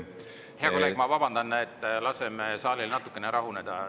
Hea kolleeg, ma vabandan, laseme saalil natukene rahuneda.